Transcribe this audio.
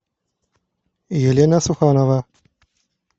елена суханова